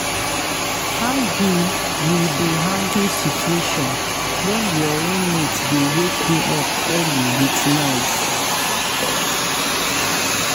How you you dey handle situation when your roommate dey wake you up early with noise?